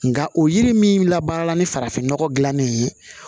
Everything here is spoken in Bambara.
Nka o yiri min labaara ni farafin nɔgɔ dilannen ye